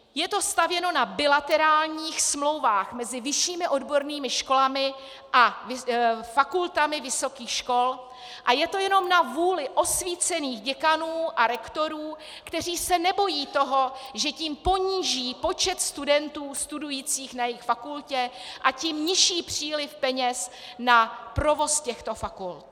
Je to stavěno na bilaterálních smlouvách mezi vyššími odbornými školami a fakultami vysokých škol a je to jenom na vůli osvícených děkanů a rektorů, kteří se nebojí toho, že tím poníží počet studentů studujících na jejich fakultě, a tím nižší příliv peněz na provoz těchto fakult.